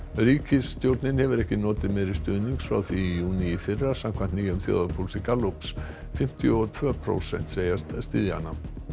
ríkisstjórnin hefur ekki notið meiri stuðnings frá því í júní í fyrra samkvæmt nýjum þjóðarpúlsi Gallups fimmtíu og tvö prósent segjast styðja hana